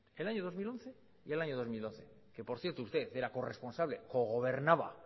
el año dos mil once y el año dos mil doce que por cierto usted era corresponsable co gobernaba